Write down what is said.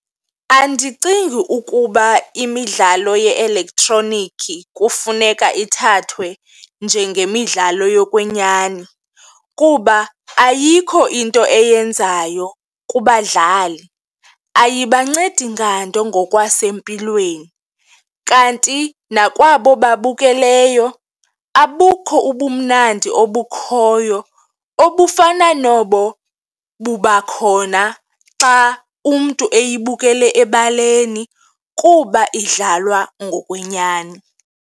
Andicingi ukuba imidlalo ye-elektroniki kufuneka ithathwe njengemidlalo yokwenyani kuba ayikho into eyenzayo kubadlali, ayibancedi nganto ngokwasempilweni kanti nakwabo babukeleyo abukho ubumnandi obukhoyo obufana nobo buba khona xa umntu eyibukele ebaleni kuba idlalwa ngokwenyani.